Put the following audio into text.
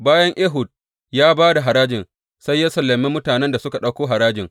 Bayan Ehud ya ba da harajin, sai ya sallame mutanen da suka ɗauko harajin.